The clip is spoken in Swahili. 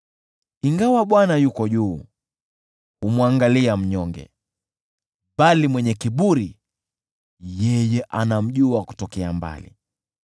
Ingawa Bwana yuko juu, humwangalia mnyonge, bali mwenye kiburi yeye anamjua kutokea mbali.